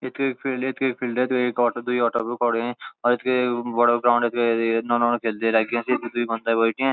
यख एक फिल्ड एक फिल्डक एक ओटो दुई ओटो रुकोणि और एक बड़ू ग्राउंड के नौनू दुई दुई घंटा बैठ्याँ।